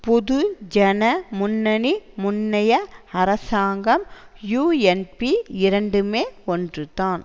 பொது ஜன முன்னணி முன்னைய அரசாங்கம் யூஎன்பி இரண்டுமே ஒன்றுதான்